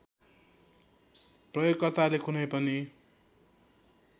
प्रयोगकर्ताले कुनै पनि